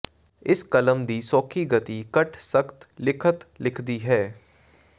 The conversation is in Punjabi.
ਇਸ ਕਲਮ ਦੀ ਸੌਖੀ ਗਤੀ ਘੱਟ ਸਖ਼ਤ ਲਿਖਤ ਲਿਖਦੀ ਹੈ